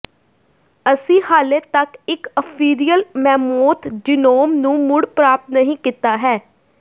ਅਸੀਂ ਹਾਲੇ ਤੱਕ ਇਕ ਅਫੀਰਿਅਲ ਮੈਮੋਂਥ ਜੀਨੋਮ ਨੂੰ ਮੁੜ ਪ੍ਰਾਪਤ ਨਹੀਂ ਕੀਤਾ ਹੈ